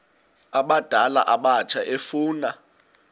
abadala abatsha efuna